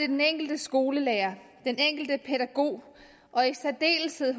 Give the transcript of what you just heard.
den enkelte skolelærer den enkelte pædagog og i særdeleshed